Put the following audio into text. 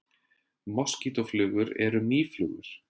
Moskítóflugur eru mýflugur.